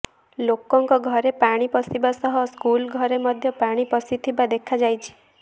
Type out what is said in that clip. ଲୋକଙ୍କ ଘରେ ପାଣି ପଶିବା ସହ ସ୍କୁଲ ଘରେ ମଧ୍ୟ ପାଣି ପଶିଥିବା ଦେଖାଯାଇଛି